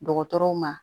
Dɔgɔtɔrɔw ma